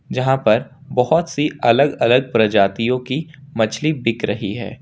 जहां पर बहुत सी अलग अलग प्रजातियों की मछली बिक रही है।